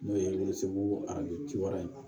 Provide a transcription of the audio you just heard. N'o ye arajo ci wɛrɛ ye